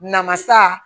Namasa